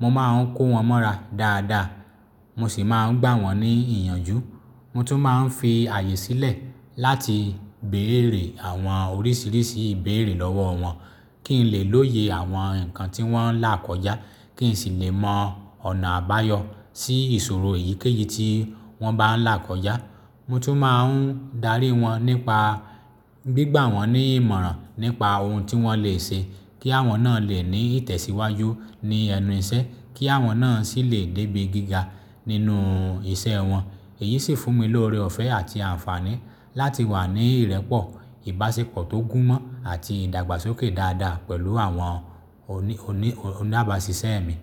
Mo máa ń kó wọn mọ́ra dáadáa, mo sì máa ń gbà wọ́n ní ìyànjú. Mo tún máa ń fi ààyè sílẹ̀ láti bèèrè àwọn oríṣiríṣi ìbéèrè lọ́wọ́ wọn, kí n lè lóye àwọn nǹkan tí wọ́n ń là kọjá, kí n sì lè mọ ọ̀nà àbáyọ sí ìṣòro èyíkéyìí tí wọ́n bá ń là kọjá. Mo tún máa ń darí wọn nípa gbígbà wọ́n ní ìmọ̀ràn nípa ohun tí wọ́n lè ṣe kí àwọn náà lè ní ìtẹ̀síwájú ní ẹnu iṣẹ́, kí àwọn náà sì lè débí gíga nínú iṣẹ́ wọn. Èyí sì fún mi lóre ọ̀fẹ́ àti àǹfààní láti wà ní ìrẹ́pọ̀, ìbáṣepọ̀ tó gúnmọ́ àti ìdàgbàsókè dáadáa pẹ̀lú àwọn oni oni oníabaṣiṣẹ́ mi.